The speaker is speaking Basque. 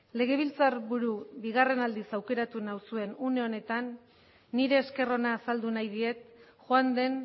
legebiltzarburu bigarren aldiz aukeratu nauzuen une honetan nire esker ona azaldu nahi diet joan den